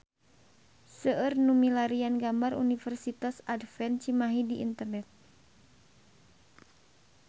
Seueur nu milarian gambar Universitas Advent Cimahi di internet